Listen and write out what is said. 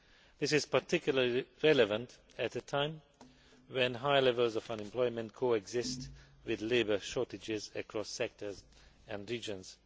This is particularly relevant at a time when high levels of unemployment coexist with labour shortages across sectors and regions.